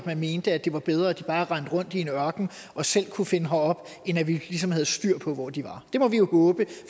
at man mente at det var bedre at de bare rendte rundt i en ørken og selv kunne finde herop end at vi ligesom havde styr på hvor de var det må vi jo håbe